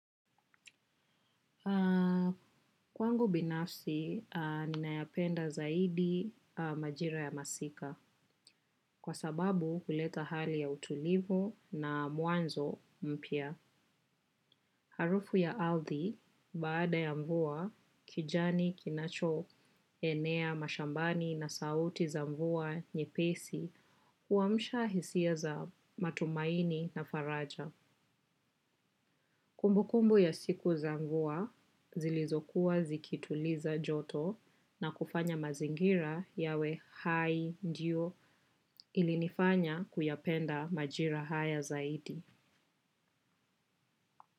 Kwangu binafsi, ninayapenda zaidi majira ya masika, kwa sababu huleta hali ya utulivu na mwanzo mpya. Harufu ya arthi, baada ya mvua, kijani, kinacho, enea, mashambani na sauti za mvua, nyepesi, huamsha hisia za matumaini na faraja. Kumbukumbu ya siku za mvua zilizokuwa zikituliza joto na kufanya mazingira yawe hai ndiyo ilinifanya kuyapenda majira haya zaidi.